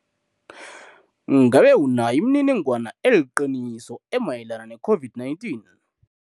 Ngabe unayo imininingwana eliqiniso emayelana ne-COVID-19